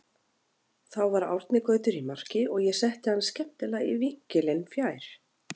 Þá var Árni Gautur í marki og ég setti hann skemmtilega í vinkilinn fjær.